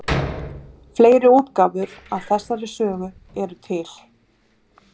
Fleiri útgáfur af þessari sögu eru til.